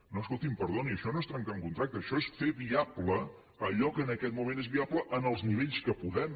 no escolti’m perdoni això no és trencar un contracte això és fer viable allò que en aquest moment és viable en els nivells en què podem